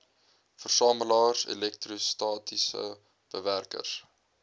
versamelaars elektrostatiese bewerkers